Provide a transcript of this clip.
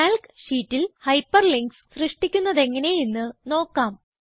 Calc sheetൽ hyperlinks സൃഷ്ടിക്കുന്നതെങ്ങനെ എന്ന് നോക്കാം